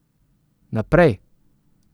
Naprej ...